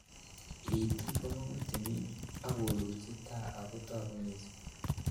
Itik komong'u timin ak kolulji taa ako toku missing.